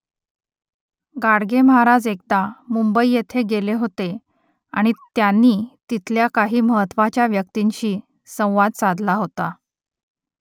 गाडगे महाराज एकदा मुंबई येथे गेले होते आणि त्यांनी तिथल्या काही महत्त्वाच्या व्यक्तींशी संवाद साधला होता